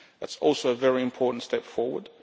That is also a very important step forward.